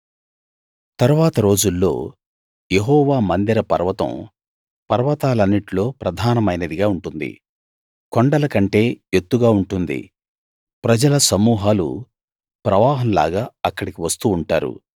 తరువాత రోజుల్లో యెహోవా మందిర పర్వతం పర్వతాలన్నిట్లో ప్రధానమైనదిగా ఉంటుంది కొండల కంటే ఎత్తుగా ఉంటుంది ప్రజల సమూహాలు ప్రవాహంలాగా అక్కడికి వస్తూ ఉంటారు